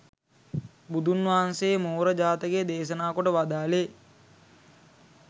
බුදුන් වහන්සේ මෝර ජාතකය දේශනා කොට වදාළේ,